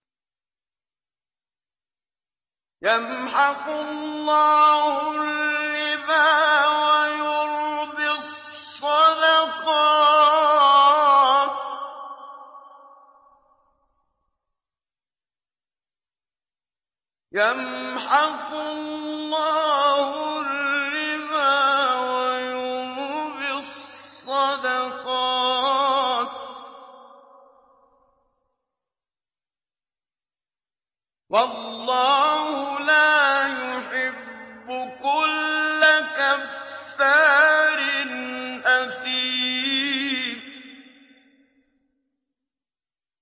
يَمْحَقُ اللَّهُ الرِّبَا وَيُرْبِي الصَّدَقَاتِ ۗ وَاللَّهُ لَا يُحِبُّ كُلَّ كَفَّارٍ أَثِيمٍ